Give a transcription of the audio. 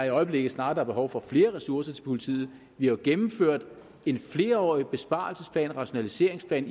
i øjeblikket snarere er behov for flere ressourcer til politiet vi har gennemført en flerårig besparelsesplan og rationaliseringsplan